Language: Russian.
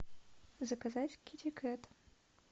заказать китикэт